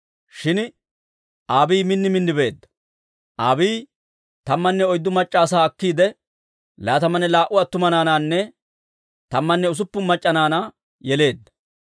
Shin Abiiyi min min beedda. Abiiyi tammanne oyddu mac'c'a asaa akkiide, laatamanne laa"u attuma naanaanne tammanne usuppun mac'c'a naanaa yeleedda.